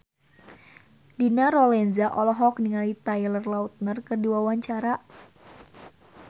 Dina Lorenza olohok ningali Taylor Lautner keur diwawancara